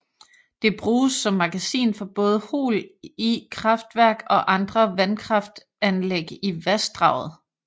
Det bruges som magasin for både Hol I kraftverk og andre vandkraftanlæg i vassdraget